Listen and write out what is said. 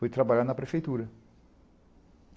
Fui trabalhar na prefeitura.